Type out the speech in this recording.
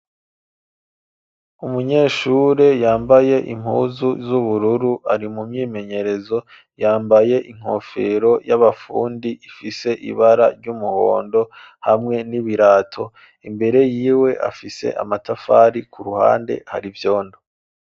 Umunyeshure yambaye impuzu z'ubururu ari mu myimenyerezo yambaye inkofero y'abafundi ifise ibara ry'umuhondo hamwe n'ibirato imbere yiwe afise amatafari, ku ruhande hari vyondo.